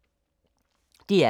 DR K